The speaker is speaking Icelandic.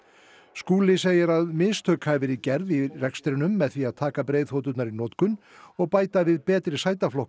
Skúli segir að mistök hafi verið gerð í rekstrinum með því að taka breiðþoturnar í notkun og bæta við betri